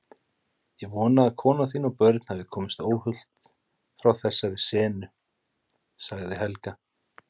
Ég vona að kona þín og börn hafi komist óhult frá þessari sennu, sagði Helga.